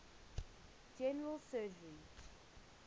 general surgery